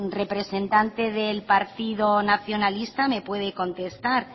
representante del partido nacionalista me puede contestar